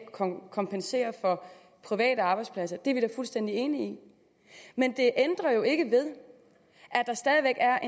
kompensere for private arbejdspladser det er vi fuldstændig enige i men det ændrer jo ikke ved at der stadig væk er